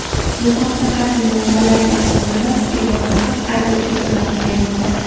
Bu haqda, harbiy manbalarga asoslanib, Yonhap agentligi xabar bermoqda .